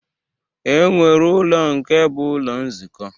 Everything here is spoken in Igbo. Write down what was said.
E nwere ụlọ nke bụ ụlọ nzukọ.